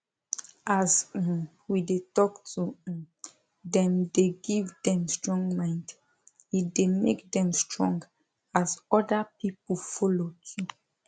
as um we dey talk to um them dey give them strong mind e dey make them strong as other people follow too